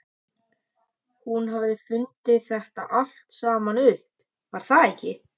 Hún hafði fundið þetta allt saman upp, var það ekki?